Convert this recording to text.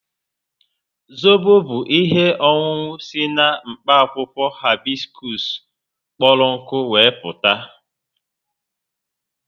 Zobo bu ihe ọṅụṅụ si na mkpa akwụkwọ Haibisikusu kpọrọ nkụ we meputa